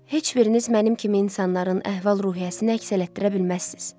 Heç biriniz mənim kimi insanların əhval-ruhiyyəsini əks elətdirə bilməzsiniz.